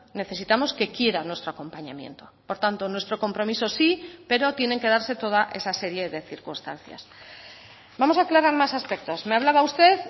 necesitamos que quiera nuestro acompañamiento por tanto nuestro compromiso sí pero tienen que darse toda esa serie de circunstancias vamos a aclarar más aspectos me hablaba usted